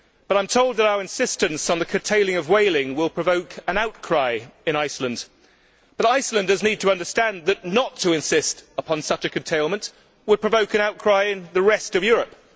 I am told that our insistence on the curtailing of whaling will provoke an outcry in Iceland, but Icelanders need to understand that not to insist upon such a curtailment would provoke an outcry in the rest of Europe.